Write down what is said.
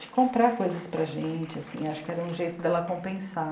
de comprar coisas para a gente, assim, acho que era um jeito de ela compensar.